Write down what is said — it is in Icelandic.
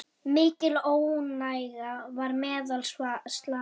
Mikil óánægja var meðal slava.